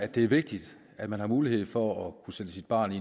det er vigtigt at man har mulighed for at kunne sætte sit barn i